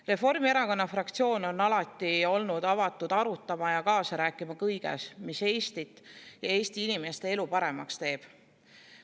Reformierakonna fraktsioon on alati olnud avatud arutama ja kaasa rääkima kõiges, mis Eestit ja Eesti inimeste elu paremaks teeb.